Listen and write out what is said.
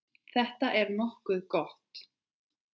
Þetta er nokkuð gott.